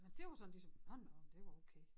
Men dét var sådan ligesom nå nå det var okay